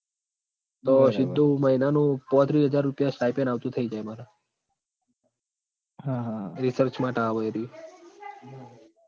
તો સીધું મહિનાનું પોત્રી હજાર રૂપિયા stipend આવતુ થઈ જાય માર research માટ આવ એરયું એ